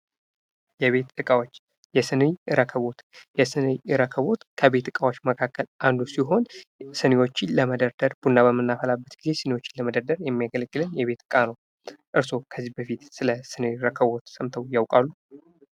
የቤት እቃዎች የሲኒ ረከቦት የሲኒ ረከቦት ከቤት እቃዎች መካከል አንዱ ሲሆን ሲኒዎችን ለመደርደር ቡና በምናፈላበት ጊዜ ሲኒዎችን ለመደርደር የሚያገለግለን የቤት እቃ ነው። እርስዎ ከዚህ በፊት ስለ ሲኒ ረከቦት ሰምተው ያውቃሉ?